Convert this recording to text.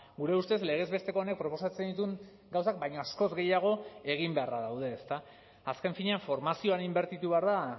gure ustez legez besteko honek proposatzen dituen gauzak baino askoz gehiago egin beharra daude ezta azken finean formazioan inbertitu behar da